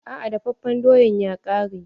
Aa dafafen doyan ya ƙare.